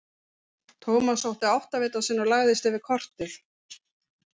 Thomas sótti áttavitann sinn og lagðist yfir kortið.